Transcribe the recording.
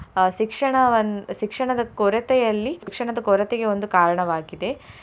ಅಹ್ ಶಿಕ್ಷಣವನ್ನು ಶಿಕ್ಷಣದ ಕೊರತೆಯಲ್ಲಿ ಶಿಕ್ಷಣದ ಕೊರತೆಗೆ ಒಂದು ಕಾರಣವಾಗಿದೆ.